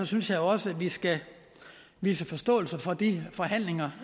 synes jeg også at vi skal vise forståelse for de forhandlinger